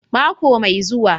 Mako mai zuwa